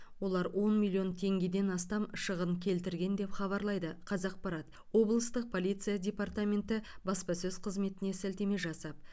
олар он миллион теңгеден астам шығын келтірген деп хабарлайды қазақпарат облыстық полиция департаменті баспасөз қызметіне сілтеме жасап